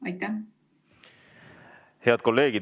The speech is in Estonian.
Head kolleegid!